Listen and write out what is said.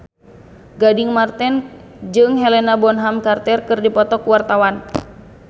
Gading Marten jeung Helena Bonham Carter keur dipoto ku wartawan